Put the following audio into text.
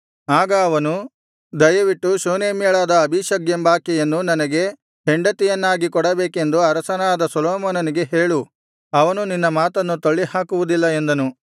ಆಗ ಅವನು ದಯವಿಟ್ಟು ಶೂನೇಮ್ಯಳಾದ ಅಬೀಷಗ್ ಎಂಬಾಕೆಯನ್ನು ನನಗೆ ಹೆಂಡತಿಯನ್ನಾಗಿ ಕೊಡಬೇಕೆಂದು ಅರಸನಾದ ಸೊಲೊಮೋನನಿಗೆ ಹೇಳು ಅವನು ನಿನ್ನ ಮಾತನ್ನು ತಳ್ಳಿಹಾಕುವುದಿಲ್ಲ ಎಂದನು